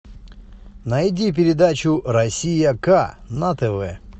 найди передачу россия к на тв